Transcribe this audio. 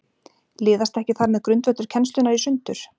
Liðast ekki þar með grundvöllur kennslunnar í sundur?